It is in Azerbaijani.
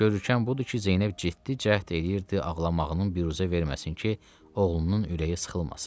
Görükən budur ki, Zeynəb getdi, cəhd eləyirdi ağlamağını büruzə verməsin ki, oğlunun ürəyi sıxılmasın.